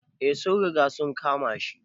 Eh, sun riga sun kama shi.